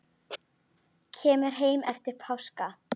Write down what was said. Kemur heim eftir páska.